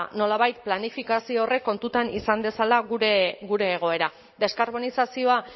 nolabait planifikazio horrek kontuan izan dezala gure egoera deskarbonizazioa